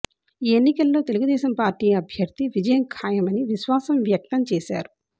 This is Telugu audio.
ఈ ఎన్నికల్లో తెలుగుదేశం పార్టీ అభ్యర్థి విజయం ఖాయమని విశ్వాసం వ్యక్తం చేశారు